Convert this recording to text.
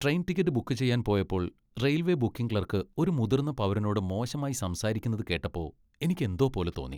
Train ticket book ചെയ്യാൻ പോയപ്പോൾ railway booking clerk ഒരു മുതിർന്ന പൗരനോട് മോശമായി സംസാരിക്കുന്നത് കേട്ടപ്പോ എനിക്ക് എന്തോ പോലെ തോന്നി.